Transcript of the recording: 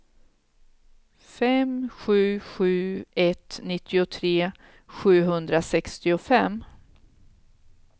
fem sju sju ett nittiotre sjuhundrasextiofem